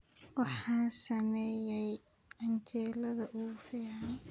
Waxaan sameeyay canjeelada ugu fiican